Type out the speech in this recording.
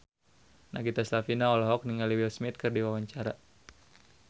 Nagita Slavina olohok ningali Will Smith keur diwawancara